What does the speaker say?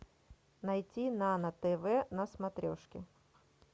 найти нано тв на смотрешке